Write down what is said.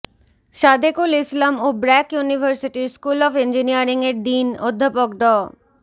সাদেকুল ইসলাম ও ব্র্যাক ইউনিভার্সিটির school of ইঞ্জিনিয়ারিংয়ের ডিন অধ্যাপক ড